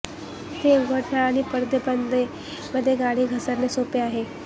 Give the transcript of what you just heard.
ते उघडणे आणि पडदे बंद मध्ये गाडी घसरणे सोपे आहे